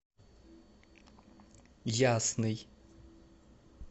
ясный